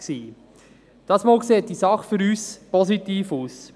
Diesmal sieht die Sache für uns positiv aus.